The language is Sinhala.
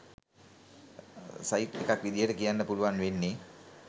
සයිට් එකක් විදියට කියන්න පුළුවන් වෙන්නේ